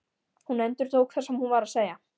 Hún endurtók það sem hún var að segja.